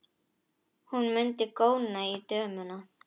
Hún mundi góna á dömuna.